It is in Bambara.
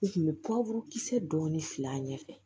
U tun bɛ kisɛ dɔɔni fil'a ɲɛfɛ